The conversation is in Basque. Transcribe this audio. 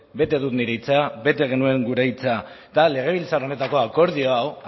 bete dut nire hitza bete genuen gure hitza eta legebiltzar honetako akordio hau